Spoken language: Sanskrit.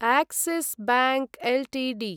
Axis bank Ltd